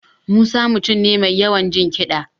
Musa ya mutum ne mai yawan jin kiɗa